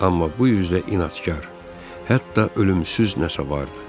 Amma bu üzdə inadkar, hətta ölümsüz nəsə vardı.